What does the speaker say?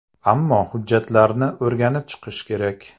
Ammo hujjatlarni o‘rganib chiqish kerak.